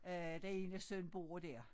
Øh den ene søn bor dér